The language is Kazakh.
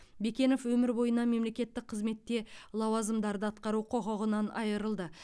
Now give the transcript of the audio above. бекенов өмір бойына мемлекеттік қызметте лауазымдарды атқару құқығынан айырылды